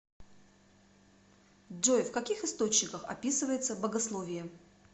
джой в каких источниках описывается богословие